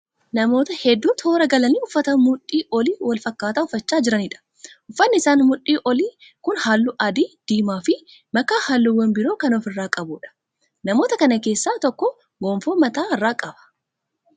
Namoota hedduu toora galanii uffata mudhii olii wal fakkaataa uffachaa jiraniidha. Uffanni isaanii mudhii olii kun halluu adii, diimaa fi makaa halluuwwan biroo kan ofi irraa qabuudha. Namoota kana keessaa tokko gonfoo mataa irra qaba.